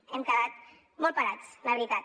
hem quedat molt parats la veritat